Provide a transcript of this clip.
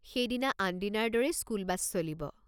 সেইদিনা আনদিনাৰ দৰেই স্কুল বাছ চলিব।